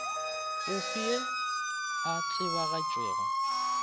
o fe yo a tsebagatšago